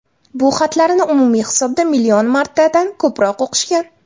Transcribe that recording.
Bu xatlarni umumiy hisobda million martadan ko‘proq o‘qishgan.